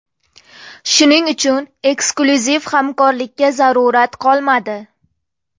Shuning uchun, eksklyuziv hamkorlikka zarurat qolmadi.